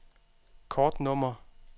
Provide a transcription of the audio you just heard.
kortnummer